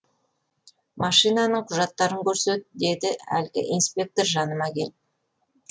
машинаның құжаттарын көрсет деді әлгі инспектор жаныма келіп